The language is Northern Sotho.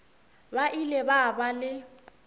ba ile ba ba le